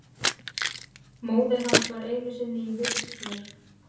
Móðir hans var einu sinni í vist hér.